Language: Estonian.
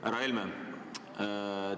Härra Helme!